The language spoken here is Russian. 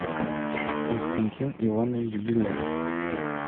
константин иванович беляев